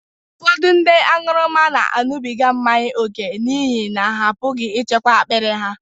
Ụfọdụ ndị aṅụrụma na-aṅụbiga mmanya ókè n’ihi na ha apụghị ịchịkwa akpiri ha.